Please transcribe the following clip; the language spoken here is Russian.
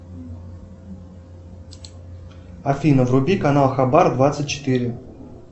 афина вруби канал хабар двадцать четыре